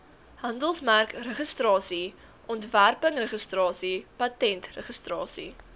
handelsmerkregistrasie ontwerpregistrasie patentregistrasie